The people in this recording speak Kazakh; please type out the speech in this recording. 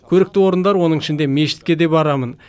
көрікті орындар оның ішінде мешітке де барамын